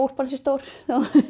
úlpan sé stór